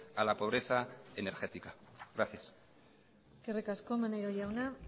a la pobreza energética gracias eskerrik asko maneiro jauna